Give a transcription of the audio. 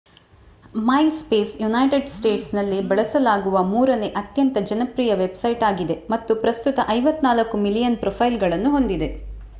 MySpace united ಸ್ಟೇಟ್ಸ್ನಲ್ಲಿ ಬಳಸಲಾಗುವ ಮೂರನೇ ಅತ್ಯಂತ ಜನಪ್ರಿಯ ವೆಬ್‌ಸೈಟ್ ಆಗಿದೆ ಮತ್ತು ಪ್ರಸ್ತುತ 54 ಮಿಲಿಯನ್ ಪ್ರೊಫೈಲ್‌ಗಳನ್ನು ಹೊಂದಿದೆ